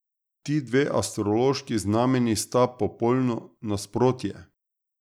Ti dve astrološki znamenji sta popolno nasprotje.